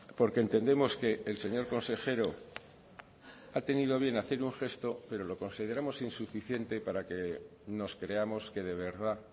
porque entendemos que el señor consejero ha tenido bien un gesto pero lo consideramos insuficiente para que nos creamos que de verdad